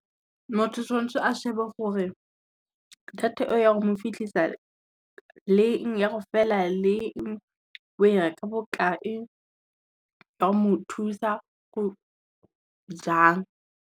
Motho tshwantshe a shebe gore, data e o ya go mo fitlhisa leng, ya go fela leng, o e reka bokae, e a go mo thusa jang.